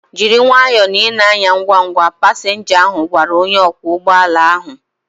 Jiri nwayọọ na ị na-anya ngwa ngwa! Pasinja ahu gwara onye ọkwọ ụgbọala ahu